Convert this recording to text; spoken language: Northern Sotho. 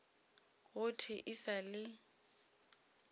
go thwe e sa le